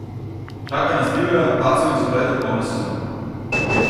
Čaka nas divja, padcev in zapletov polna sezona!